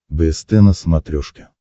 бст на смотрешке